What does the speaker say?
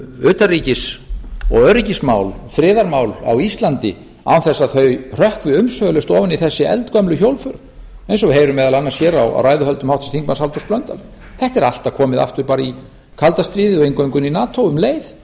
utanríkis og öryggismál friðarmál á íslandi án þess að þau hrökkvi umsvifalaust ofan í þessi eldgömlu hjólför eins og við heyrum meðal annars hér á ræðuhöldum háttvirtur þingmaður halldórs blöndals þetta er alltaf komið aftur bara í kalda stríðið og eingöngu inn í nato um leið